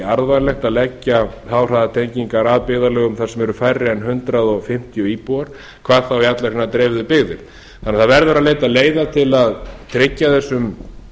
arðvænlegt að leggja háhraðatengingar að byggðarlögum þar sem eru færri en hundrað fimmtíu íbúar hvað þá í allar hinar dreifðu byggðir þannig að það verður að leita leiða til að tryggja þessum